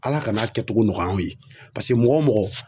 Ala kana a kɛcogo nɔgɔya anw ye, paseke mɔgɔ o mɔgɔ